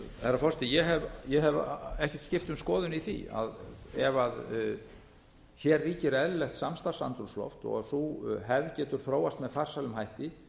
herra forseti ég hef ekkert skipt um skoðun í því að ef hér ríkir eðlilegt samstarfsandrúmsloft þó sú hefð getur þróast með farsælum hætti